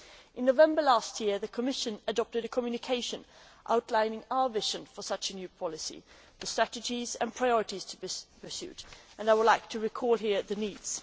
In November last year the Commission adopted a communication outlining our vision for such a new policy, the strategies and priorities to be pursued, and I would like to recall here what is needed.